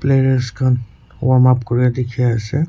players khan warm up kore dikhi ase.